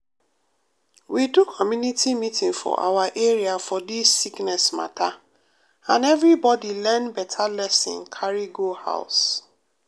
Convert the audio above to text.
we do community meeting for awa area for dis sickness mata and everybody learn beta lesson carry go house.